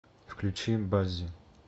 включи баззи